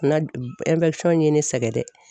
Na ye ne sɛgɛn dɛ.